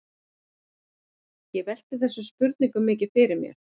Ég velti þessum spurningum mikið fyrir mér.